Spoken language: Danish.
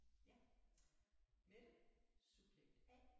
Ja Mette subjekt A